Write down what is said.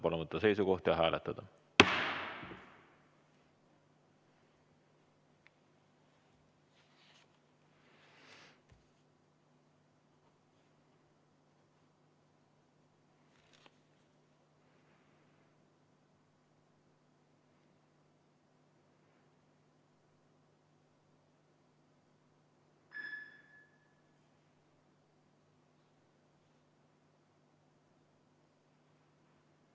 Palun võtta seisukoht ja hääletada!